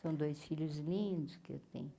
São dois filhos lindos que eu tenho.